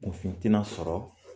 Kun fin tɛ na sɔrɔ